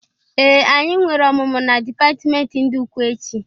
Ee! Anyi nwere ọmụmụ na dịpatimenti ndị ukwe echị.